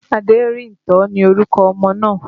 Aderinto ni orúkọ ọmọ náà